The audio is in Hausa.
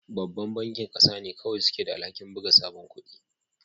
Babban bankin ƙasa ne kawai suke da alhakin buga sabon kudi